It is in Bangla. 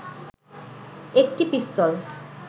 একটি পিস্তল